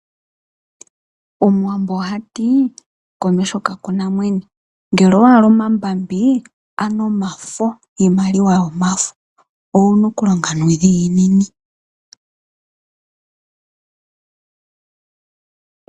Omuwambo ohatii, komeho kakuna mwene. Ngele owahala iimaliwa yomafo, owuna okulonga nuudhiginini.